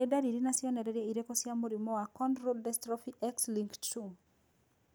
Nĩ ndariri na cionereria irĩkũ cia mũrimũ wa Cone rod dystrophy X linked 2?